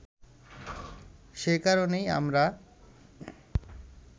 সে কারণেই আমরা